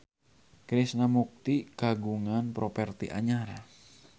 Krishna Mukti kagungan properti anyar